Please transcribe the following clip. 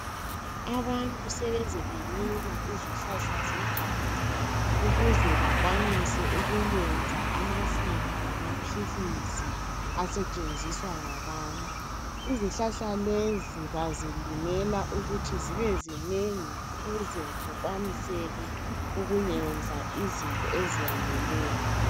Abantu sebeze belima izihlahla zeganga ukuze bakwanise ukuyenza amafutha lamaphilisi asetshenziswa ngabantu. Izihlahla lezi bazilimela ukuthi zibe zinengi ukuze kukwaniseke ukuyenza izinto eziyaneleyo.